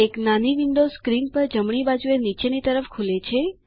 એક નાની window screen પર જમણી બાજુએ નીચેની તરફ ખુલે છે